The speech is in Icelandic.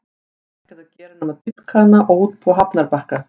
Þarf ekkert að gera nema að dýpka hann og útbúa hafnarbakka.